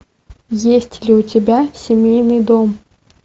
есть ли у тебя семейный дом